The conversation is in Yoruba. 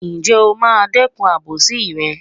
Ǹjẹ́ o máa dẹ́kun àbòsí rẹ̀?